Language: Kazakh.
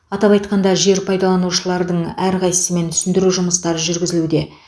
атап айтқанда жер пайдаланушылардың әрқайсысымен түсіндіру жұмыстары жүргізілуде